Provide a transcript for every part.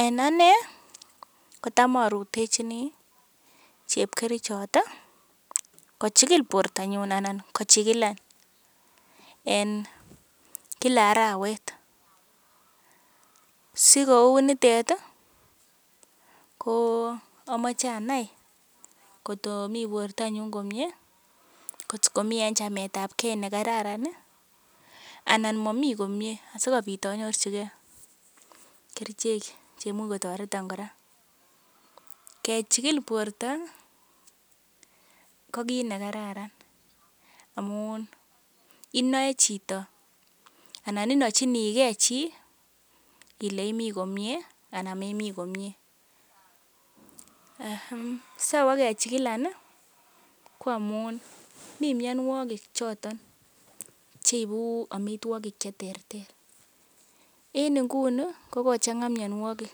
En anee kotam arutechini chepkerichot kochigil bortanyun anan kochigilan, en kila arawet. Si kou nitet ii ko amache anae kot komi bortanyun komyee. Kot ami en chametab ge nekararan anan momi komye asikobit anyorjige kerichek che imuch kotoreton kora. Kechikil borto ko kiit ne kararan amun inoe chito anan inochinige chi ile imi komyee anan memi komyee. Sowo kechikilan ko amun mi mianwogik choton cheibu amitwogik che terter. En nguni kogochang'a mianwogik,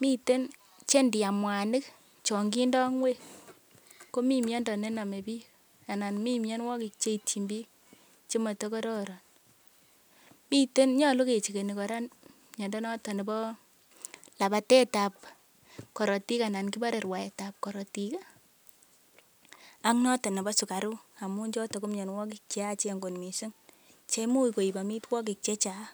miten che ndiam mwanik chon kindo ng'wek komi miondo ne nome biik anan mi mianwogik ch eityin biik che motokororon. Nyolu kechekeni kora miondo noton nebo labatetab korotik anan kibore rwaetab korotik ak noton nebo sugaruk amun noto ko mianwogik che yachen kot mising. Che imuch koibu amitwogik chechang.